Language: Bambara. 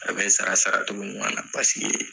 A bɛ sara saracogo ɲuman na paseke.